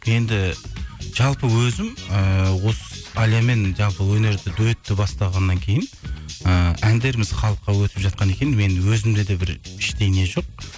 енді жалпы өзім ііі осы әлиямен жалпы өнерді дуэтті бастағаннан кейін ы әндеріміз халыққа өтіп жатқаннан кейін мен өзімде де бір іштей не жоқ